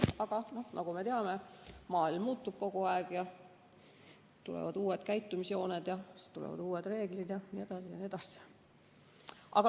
Aga nagu me teame, maailm muutub kogu aeg, tulevad uued käitumisjooned, siis tulevad uued reeglid jne.